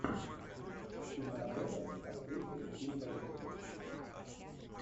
киноработа с актрисой ким бейсингер